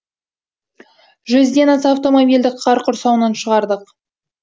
жүзден аса автомобильді қар құрсауынан шығардық